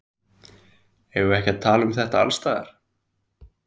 Eigum við ekki að tala um þetta alls staðar?